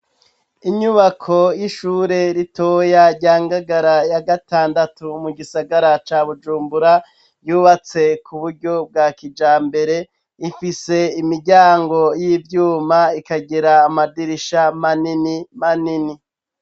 Inyubako y'ishure ritoya rya ngagara ya gatandatu mu gisagara ca bujumbura yubatse ku buryo bwa kijambere, ifise imiryango y'ivyuma ikagira amadirisha manini manini.